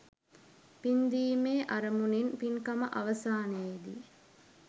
පින්දීමේ අරමුණින් පින්කම අවසානයේ දී